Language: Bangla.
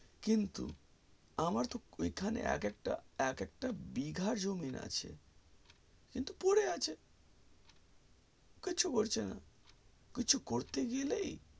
কিন্তু আমার তো ঐখানে একএকটা একএকটা বিঘার জমি আছে কিন্তু পরে আছে কিছু করছিনা কিছু করতে গেলেই